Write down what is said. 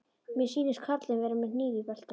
Mér sýnist karlinn vera með hníf í beltinu.